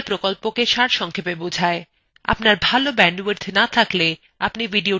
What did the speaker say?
আপনার ভাল bandwidth না থাকলে আপনি এটি download করেও দেখতে পারেন